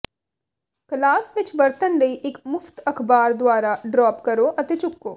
class ਵਿੱਚ ਵਰਤਣ ਲਈ ਇੱਕ ਮੁਫ਼ਤ ਅਖ਼ਬਾਰ ਦੁਆਰਾ ਡ੍ਰੌਪ ਕਰੋ ਅਤੇ ਚੁੱਕੋ